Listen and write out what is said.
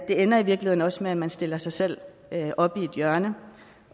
ender i virkeligheden også med at man stiller sig selv op i et hjørne